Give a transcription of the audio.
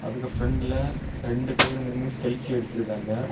அதுல பிரெண்ட்ல ரெண்டு பேரு நின்னு செல்ஃபி எடுத்துருக்காங்க.